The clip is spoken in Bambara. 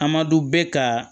A ma dɔn bɛ ka